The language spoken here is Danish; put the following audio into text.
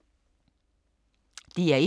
DR1